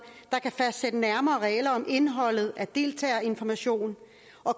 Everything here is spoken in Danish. der kan fastsætte nærmere regler om indholdet af deltagerinformation